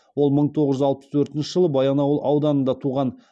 ол мың тоғыз жүз алпыс төртінші жылы баянауыл ауданында туған